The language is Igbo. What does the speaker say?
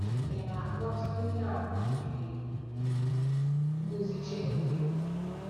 Ị̀ Na-aghọta Ihe àmà nke nduzi Chineke?